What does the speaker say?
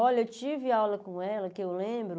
Olha, eu tive aula com ela, que eu lembro...